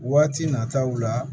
Waati nataw la